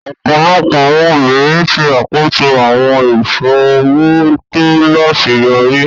Ọpọlọpọ awọn obirin ṣe akoso awọn iṣowo to laṣeyọri.